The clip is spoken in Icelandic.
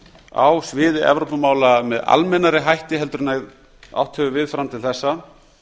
á sviði evrópumála með almennari hætti heldur en átt hefur við fram til þessa